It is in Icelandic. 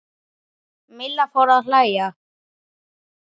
Milla fór að hlæja.